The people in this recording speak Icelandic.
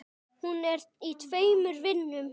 Hún er í tveimur vinnum.